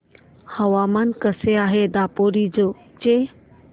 हवामान कसे आहे दापोरिजो चे